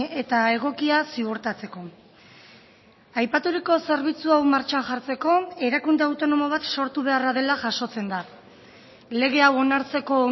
eta egokia ziurtatzeko aipaturiko zerbitzu hau martxan jartzeko erakunde autonomo bat sortu beharra dela jasotzen da lege hau onartzeko